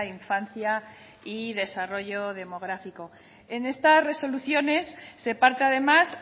infancia y desarrollo demográfico en estas resoluciones se parte además